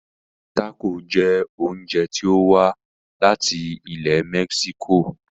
Tácò jẹ oúnjẹ tí o wá láti ilẹ̀ mexico.